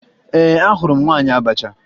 Ee, ahụrụ m nwaanyị abacha